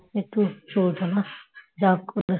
একটু চলত না যা করে